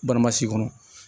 Baramasi kɔnɔ